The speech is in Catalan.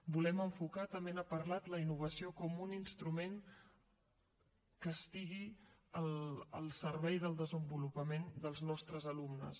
volem enfocar també n’ha parlat la innovació com un instrument que estigui al servei del desenvolupament dels nostres alumnes